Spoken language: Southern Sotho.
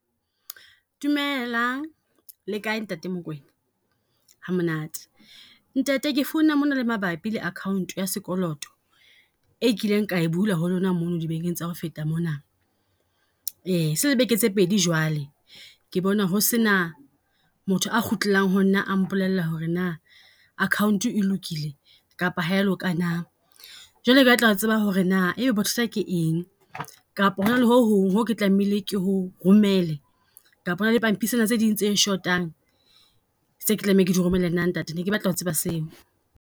Dumelang le kae ntate Mokoena, ha monate. Ntate ke phone-a mona le mabapi le account ya sekoloto, e kileng kae bula ho lona mono di bekeng tsa ho feta mona. Se le beke tse pedi jwale, ke bona ho se na motho a kgutlelang ho nna a mpolella ho re na account e lokile kapa ha e ya loka na. Jwale ke batla ho tseba ho re na e be bothata ke eng, kapo re re ho hong ho ke tlamehile ke ho romele, kapa hona le pampisana tse ding tse shotang tse ke tlameha ke di romele na ntate? Ne ke batla ho tseba seo?